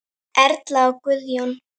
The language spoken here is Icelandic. Erla og Guðjón.